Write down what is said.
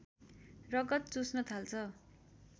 रगत चुस्न थाल्छ